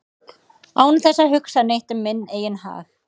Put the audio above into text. án þess að hugsa neitt um minn eigin hag